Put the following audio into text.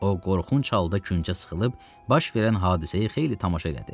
O, qorxunc halda küncə sıxılıb, baş verən hadisəyə xeyli tamaşa qəti.